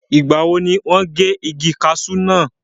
ìgbà wo ni wọ́n gé igi kasú náà?